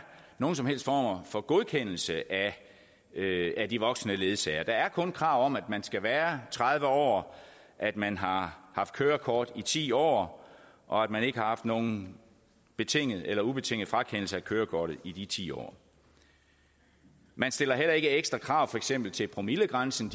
nogen som helst former for godkendelse af de voksne ledsagere der er kun krav om at man skal være tredive år at man har haft kørekort i ti år og at man ikke har haft nogen betingede eller ubetingede frakendelser af kørekortet i de ti år man stiller heller ikke ekstra krav for eksempel til promillegrænsen